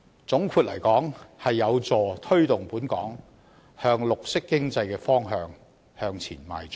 總括而言，這將有助推動本港朝綠色經濟的方向邁進。